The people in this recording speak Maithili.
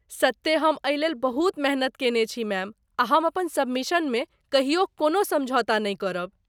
सत्ते हम एहिलेल बहुत मेहनति कयने छी मैम, आ हम अपन सबमिशनमे कहियो कोनहु समझौता नहि करब।